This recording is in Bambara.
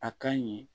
A ka ɲɛ